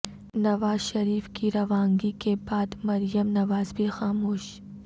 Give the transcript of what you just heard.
نواز شریف کی روانگی کے بعد مریم نواز بھی خاموش